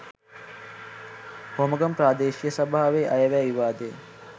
හෝමාගම ප්‍රාදේශීය සභාවේ අයවැය විවාදය